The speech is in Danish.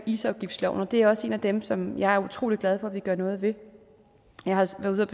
isafgiftsloven og det er også en af dem som jeg er utrolig glad for at vi gør noget ved jeg har sammen med